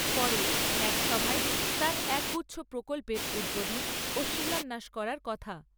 পরে এক সভায় তাঁর একগুচ্ছ প্রকল্পের উদ্বোধন ও শিলান্যাস করার কথা।